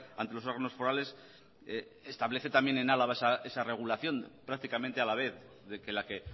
ante los órganos forales establece también en álava esa regulación prácticamente a la vez de que la que